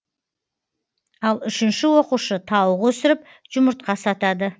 ал үшінші оқушы тауық өсіріп жұмыртқа сатады